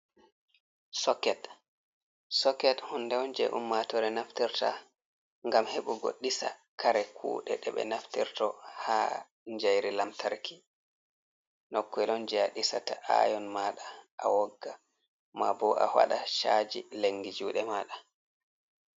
soket soket hunde Un je ummatore naftirta gam heɓugo disa kare kuɗe, ɗe ɓe naftirto ha jairi lamtarki, nokke on je ɗisata ayon maɗa a wogga, ma bo a waɗa chaji lengi jude maɗa.